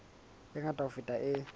e ngata ho feta e